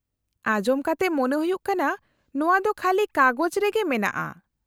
-ᱟᱸᱡᱚᱢ ᱠᱟᱛᱮ ᱢᱚᱱᱮ ᱦᱩᱭᱩᱜ ᱠᱟᱱᱟ ᱱᱚᱶᱟ ᱫᱚ ᱠᱷᱟᱹᱞᱤ ᱠᱟᱜᱚᱡᱽ ᱨᱮᱜᱮ ᱢᱮᱱᱟᱜᱼᱟ ᱾